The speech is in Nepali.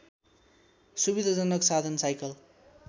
सुविधाजनक साधन साइकल